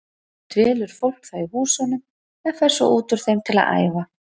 Dvelur fólk þá í húsunum en fer svo út úr þeim til að æfa.